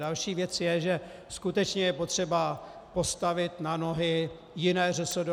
Další věc je, že skutečně je potřeba postavit na nohy jiné ŘSD.